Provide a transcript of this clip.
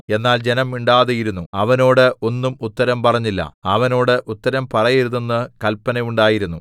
എന്നാൽ ജനം മിണ്ടാതിരുന്നു അവനോട് ഒന്നും ഉത്തരം പറഞ്ഞില്ല അവനോട് ഉത്തരം പറയരുതെന്ന് കല്പന ഉണ്ടായിരുന്നു